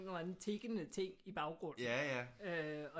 Eller anden tikkende ting i baggrunden øh